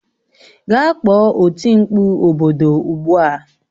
Gaa kpọọ oti mkpụ obodo ugbu a